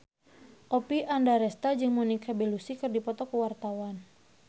Oppie Andaresta jeung Monica Belluci keur dipoto ku wartawan